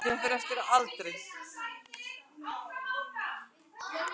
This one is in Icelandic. Þóttist hann ekki fyrr hafa búið við jafngóða aðstöðu til að hirða um blessaðar skepnurnar.